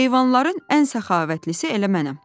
“Heyvanların ən səxavətlisi elə mənəm.”